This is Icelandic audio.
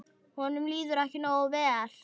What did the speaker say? Honum líður ekki nógu vel.